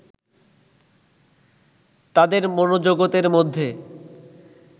তাদের মনোজগতের মধ্যে